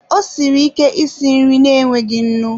Ọ siri ike isi nri na-enweghị nnu.